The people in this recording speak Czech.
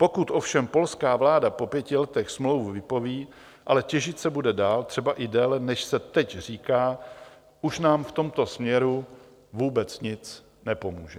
Pokud ovšem polská vláda po pěti letech smlouvu vypoví, ale těžit se bude dál, třeba i déle, než se teď říká, už nám v tomto směru vůbec nic nepomůže.